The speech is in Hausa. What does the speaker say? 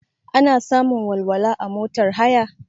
Ana samun walwala a motar haya?